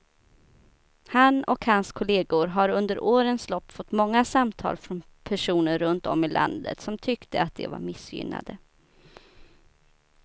Han och hans kolleger har under årens lopp fått många samtal från personer runt om i landet som tyckte att de var missgynnade.